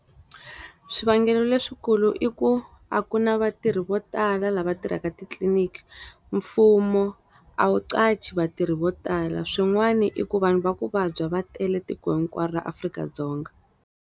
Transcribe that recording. Swivangelo leswikulu i ku, a ku na vatirhi vo tala lava tirhaka titliniki. Mfumo a wu qhashi vatirhi vo tala. Swin'wana i ku vanhu va ku vabya va tele tiko hinkwaro ra Afrika-Dzonga.